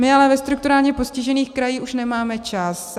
My ale ve strukturálně postižených krajích už nemáme čas.